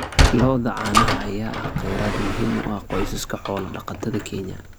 Lo'da caanaha ayaa ah kheyraad muhiim u ah qoysaska xoolo-dhaqatada Kenya.